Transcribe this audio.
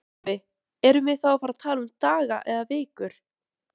Sölvi: Erum við þá að tala um daga eða vikur?